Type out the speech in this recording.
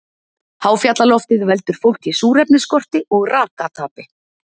Háfjallaloftið veldur fólki súrefnisskorti og rakatapi.